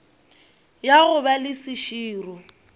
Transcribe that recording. ya go ba le seširo